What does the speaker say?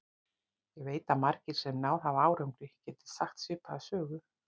Ég veit að margir, sem náð hafa árangri, geta sagt svipaða sögu.